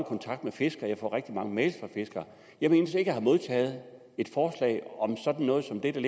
kontakt med fiskere og får rigtig mange mails fra fiskere og jeg mindes ikke at have modtaget et forslag om sådan noget som det der